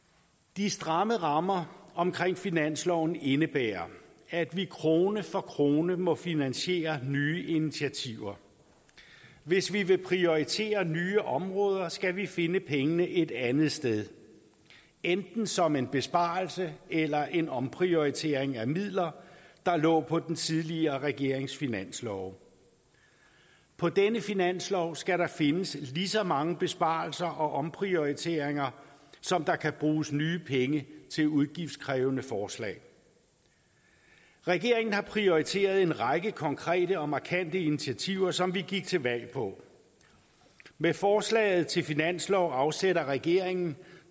de stramme rammer omkring finansloven indebærer at vi krone for krone må finansiere nye initiativer hvis vi vil prioritere nye områder skal vi finde pengene et andet sted enten som en besparelse eller en omprioritering af midler der lå på den tidligere regerings finanslove på denne finanslov skal der findes lige så mange besparelser og omprioriteringer som der kan bruges nye penge til udgiftskrævende forslag regeringen har prioriteret en række konkrete og markante initiativer som vi gik til valg på med forslaget til finanslov afsætter regeringen